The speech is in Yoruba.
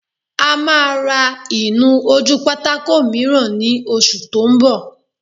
A máa ra ìnu-ojúpátákó mìíràn ní oṣù tó n bọ̀